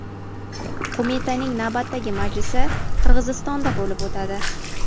Qo‘mitaning navbatdagi majlisi Qirg‘izistonda bo‘lib o‘tadi.